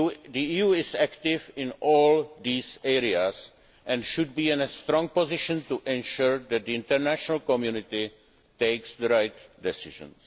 The EU is active in all these areas and should be in a strong position to ensure that the international community takes the right decisions.